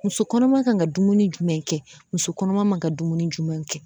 Muso kɔnɔma kan ka dumuni jumɛn kɛ musokɔnɔma man ka dumuni jumɛnw kɛ